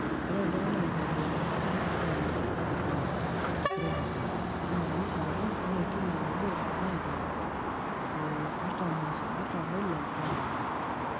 Keeta iltunganak inkabilaritin 23 e chromosome, naimaanisha ajo ore kila nabo neeta 46 chromosome.